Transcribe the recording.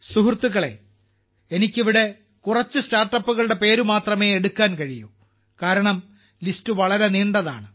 സുഹൃത്തുക്കളേ എനിക്ക് ഇവിടെ കുറച്ച് സ്റ്റാർട്ടപ്പുകളുടെ പേര് മാത്രമേ എടുക്കാൻ കഴിയൂ കാരണം ലിസ്റ്റ് വളരെ നീണ്ടതാണ്